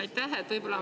Aitäh!